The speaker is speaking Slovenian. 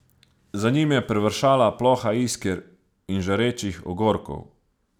Za njim je privršala ploha isker in žarečih ogorkov.